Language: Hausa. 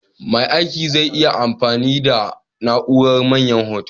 Mai aiki zai yi amfani da na'urar Manyan Hoto.